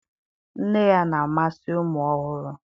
Nne ya na-amasị ụmụ ọhụrụ.